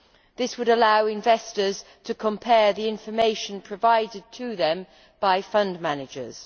This would allow investors to compare the information provided to them by fund managers.